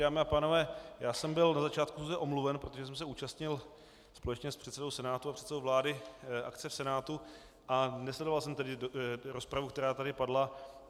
Dámy a pánové, já jsem byl na začátku schůze omluven, protože jsem se účastnil společně s předsedou Senátu a předsedou vlády akce v Senátu a nesledoval jsem tedy rozpravu, která tady padla.